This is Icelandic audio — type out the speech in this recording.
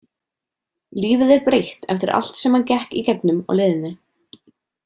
Lífið er breytt eftir allt sem hann gekk í gegnum á leiðinni.